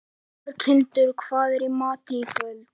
Berghildur, hvað er í matinn í kvöld?